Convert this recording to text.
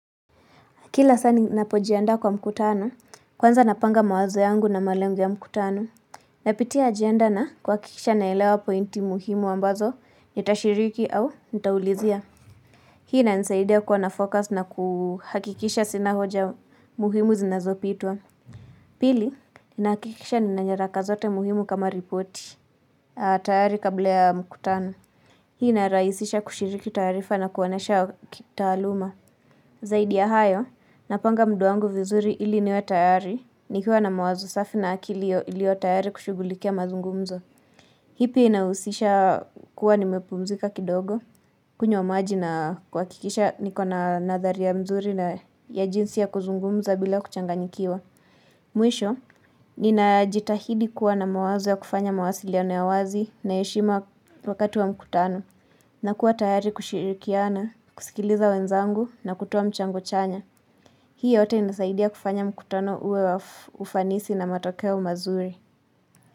Kila saa ni napojianda kwa mkutano, kwanza napanga mawazo yangu na malengo ya mkutano. Napitia agenda na kuhakikisha naelewa pointi muhimu ambazo nitashiriki au nitaulizia. Hii inanisaidia kuwanafocus na kuhakikisha sina hoja muhimu zinazopitwa. Pili, inakikisha ninanyaraka zote muhimu kama ripoti. A tayari kabla ya mkutano. Hii inarahisisha kushiriki taarifa na kuoanesha kitaaluma. Zaidi ya hayo, napanga mudwangu vizuri ili niwe tayari nikiwa na mawazo safi na akili ilio tayari kushugulikia mazungumzo. Hipi inahusisha kuwa nimepumzika kidogo, kunywa maji na kuhakikisha niko na nathari ya mzuri na ya jinsi ya kuzungumza bila kuchanganyikiwa. Mwisho, ninajitahidi kuwa na mawazo ya kufanya mawasili ya wazi na ya heshima wakati wa mkutano. Na kuwa tayari kushirikiana, kusikiliza wenzangu na kutoa mchango chanya. Hii yote inasaidia kufanya mkutano uwe wa ufanisi na matokeo mazuri.